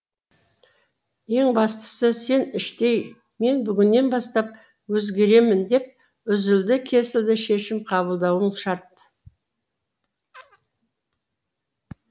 ең бастысы сен іштей мен бүгіннен бастап өзгеремін деп үзілді кесілді шешім кабылдауың шарт